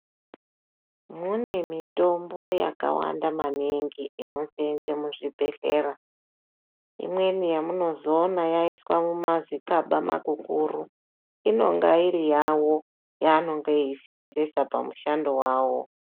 Mune mitombo yakawanda maningi inosensa muzvibhehlera. Imweni yamunozoona yaiswe mumazikaba makuru inenge iri yawo , yaanenge veisensesa pamushando wawo.